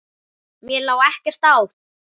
Mér lá ekkert á.